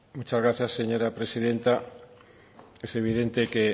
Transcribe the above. muchas gracias señora presidenta es evidente que